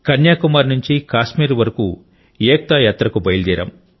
కన్యాకుమారి నుండి కాశ్మీర్ వరకు ఏక్తా యాత్రకు బయలుదేరాం